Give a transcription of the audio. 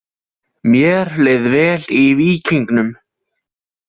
Mér leið vel í víkingnum.